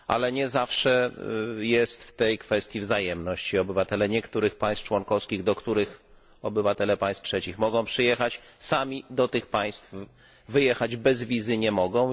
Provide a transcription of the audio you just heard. Nie zawsze jednak jest w tej kwestii wzajemność i obywatele niektórych państw członkowskich, do których obywatele państw trzecich mogą przyjechać, sami wjechać do tych państw bez wizy nie mogą.